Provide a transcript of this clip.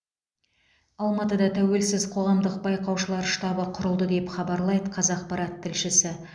алматыда тәуелсіз қоғамдық байқаушылар штабы құрылды деп хабарлайды қазақпарат тілшісі